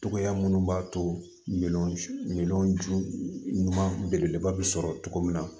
Cogoya minnu b'a to min ju ɲuman belebeleba bɛ sɔrɔ cogo min na